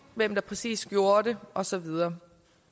hvem der præcis gjorde det og så videre